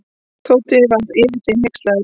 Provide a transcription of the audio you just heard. Tóti var yfir sig hneykslaður.